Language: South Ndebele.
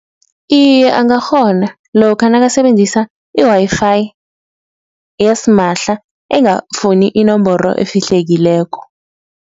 Iye angakghona lokha nakasebenzisa i-Wi-Fi yasimahla engafuni inomboro efihlekileko.